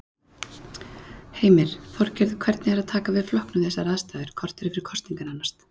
Heimir: Þorgerður, hvernig er að taka við flokknum við þessar aðstæður, korteri fyrir kosningar nánast?